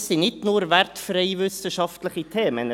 Das sind nicht nur wertfreie wissenschaftliche Themen.